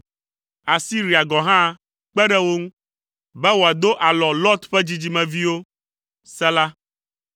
Asiria gɔ̃ hã kpe ɖe wo ŋu, be wòado alɔ Lot ƒe dzidzimeviwo. Sela